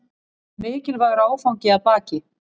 Mikilvægur áfangi að baki